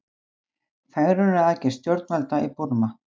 Fegrunaraðgerð stjórnvalda í Búrma